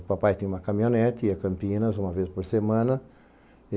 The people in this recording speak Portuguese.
O papai tinha uma caminhonete, ia a Campinas uma vez por semana.